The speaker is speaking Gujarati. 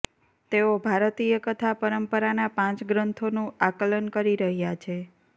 તેઓ ભારતીય કથા પરંપરાના પાંચ ગ્રંથોનું આકલન કરી રહ્યા છે